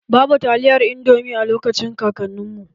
Babu taliyar indomi a lokacin kakanin mu.